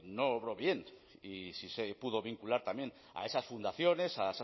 no obró bien y sí se pudo vincular también a esas fundaciones a